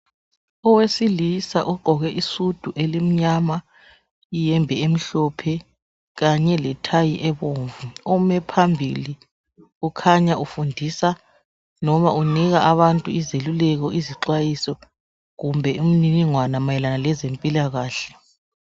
Owesilisa ogqoke isudu emnyama iyembe emhlophe kanye lethayi ebomvu, ome phambili ukhanya efundisa noma unika abantu izeluleko izixwayiso kumbe imininingwana ayelana lezempilakahle.